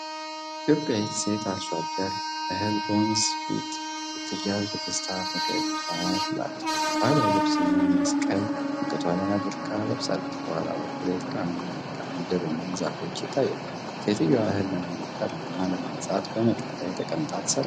ኢትዮጵያዊት ሴት አርሶ አደር እህል በወንፊት ስትያዝ በደስታ ፈገግ ብላለች። ባህላዊ ልብስና መስቀል አንገቷ ላይ አድርጋ ለብሳለች። ከኋላ በኩል የተራራማ መልክዓ ምድርና ዛፎች ይታያሉ። ሴትየዋ እህል ለማበጠርና ለማንጻት በመሬት ላይ ተቀምጣ ትሰራለች።